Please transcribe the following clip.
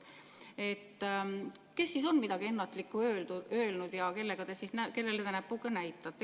Kes siis on midagi ennatlikku öelnud ja kellele te näpuga näitate?